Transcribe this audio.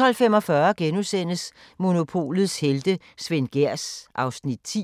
12:45: Monopolets helte - Svend Gehrs (Afs. 10)*